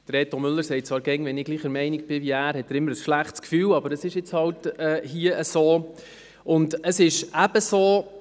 Reto Müller sagt zwar jeweils, er habe immer ein schlechtes Gefühl, wenn ich gleicher Meinung bin wie er, aber das ist hier halt so.